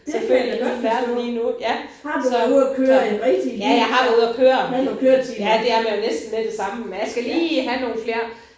Det hele min verden lige nu ja så så. Ja jeg har været ude at køre. Ja det er man jo næsten med det samme men jeg skal lige have nogle flere